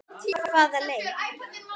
Hvaða leik?